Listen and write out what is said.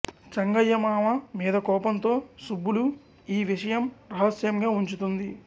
చెంగయ్య మావ మీద కోపంతో సుబ్బులు ఈ విషయం రహస్యంగాఉంచుతుంది